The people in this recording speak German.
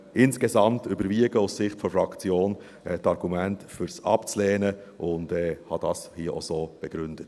Insgesamt überwiegen aus Sicht der Fraktion die Argumente dafür es abzulehnen, und ich habe das hier auch so begründet.